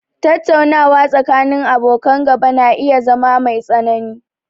Tattaunawa tsakanin abokan gaba na iya zama mai tsanani